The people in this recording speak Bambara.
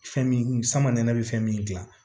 Fɛn min sama nɛnɛ be fɛn min gilan